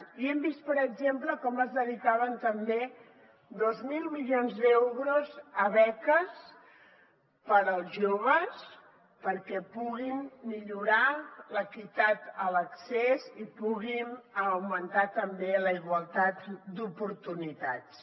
i hem vist per exemple com es dedicaven també dos mil milions d’euros a beques per als joves perquè puguin millorar l’equitat a l’accés i puguin augmentar també la igualtat d’oportunitats